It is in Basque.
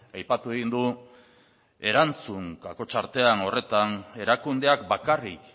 aipatu egin du erantzun horretan erakundeak bakarrik